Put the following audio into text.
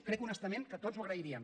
crec honestament que tots ho agrairíem